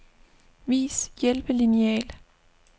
Vis hjælpelineal.